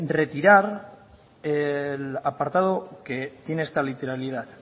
retirar el apartado que tiene esta literalidad